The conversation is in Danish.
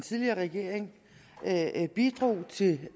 tidligere regering bidrog til